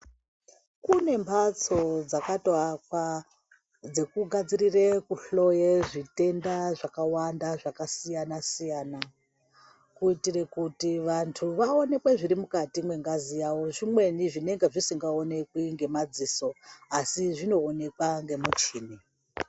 Kune mbatso dzakatoakwa dzekugadzirire kuhloye zvitenda zvakawanda zvakasiyana-siyana. Kuitire kuti vantu vaonekwe zviri mukati mwengazi yavo, zvimweni zvinenge zvisingaonekwi ngemadziso asi zvinoonekwa ngemuchini.